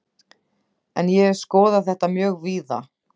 En ég hef skoðað þetta mjög víða.